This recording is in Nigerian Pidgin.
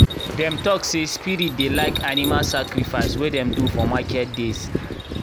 dem talk say spirits dey like animal sacrifice wey dem do for market days.